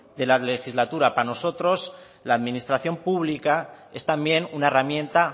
de la legislatura para nosotros la administración pública es también una herramienta